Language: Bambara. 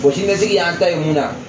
siniɲɛsigi y'an ta ye mun na